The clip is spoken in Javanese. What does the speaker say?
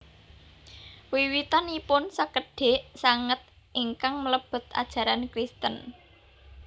Wiwitanipun sekedhik sanget ingkang mlebet ajaran Kristen